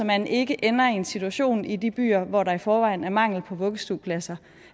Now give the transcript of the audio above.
man ikke ender i en situation i de byer hvor der i forvejen er mangel på vuggestuepladser